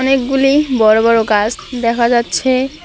অনেকগুলি বড় বড় গাছ দেখা যাচ্ছে।